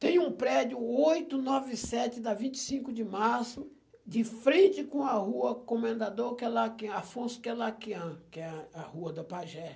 Tem um prédio, oito nove sete da vinte e cinco de março, de frente com a rua Comendador Quelaqui Afonso Queilaquian, que é a rua da Pagé.